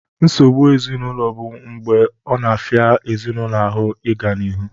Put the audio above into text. Nsogbu ezinaụlọ bụ mgbe ọ na-afịa ezinaụlọ ahụ ịga n'ihu